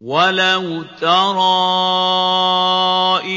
وَلَوْ تَرَىٰ